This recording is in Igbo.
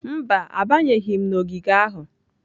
Mba, abanyeghị m n'ogige ahụ.